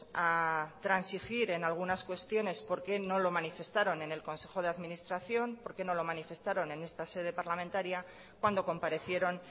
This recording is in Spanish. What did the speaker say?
a transigir en algunas cuestiones por qué no lo manifestaron en el consejo de administración por qué no lo manifestaron en esta sede parlamentaria cuando comparecieron